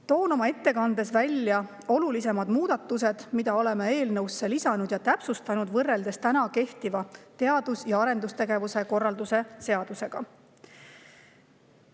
Toon oma ettekandes välja olulisimad muudatused, selle, mida oleme eelnõusse lisanud ja seal täpsustanud võrreldes kehtiva teadus‑ ja arendustegevuse korralduse seadusega.